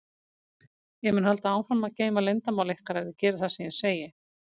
Ég mun halda áfram að geyma leyndarmál ykkar ef þið gerið það sem ég segi.